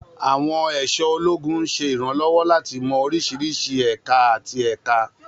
Àwọn aṣọ ológun ń ṣe ìrànlọ́wọ́ láti mọ oríṣiríṣi ẹ̀ka àti ẹ̀ka.